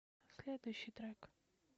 следующий трек